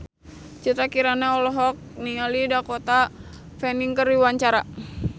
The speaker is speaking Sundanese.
Citra Kirana olohok ningali Dakota Fanning keur diwawancara